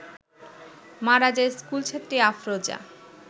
মারা যায় স্কুলছাত্রী আফরোজা